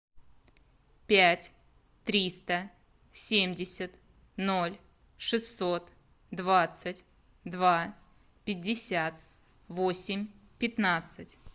пять триста семьдесят ноль шестьсот двадцать два пятьдесят восемь пятнадцать